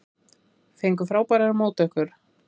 Fengu frábærar móttökur